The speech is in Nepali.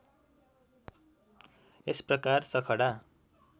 यस प्रकार सखडा